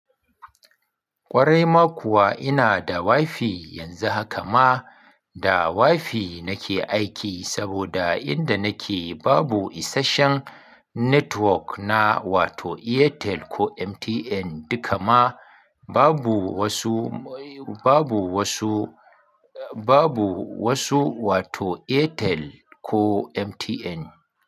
Kwarai ma kuwa ina da wifi yanzu haka ma da wifi nake aiki saboda inda nake babu isasshen network na wato Airtel ko MTN. Dukama babu wasu, babu wasu, babu wasu wato Airtel ko MTN.